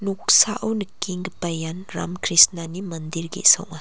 noksao nikenggipa ian Ram Krishnani mandir ge·sa ong·a.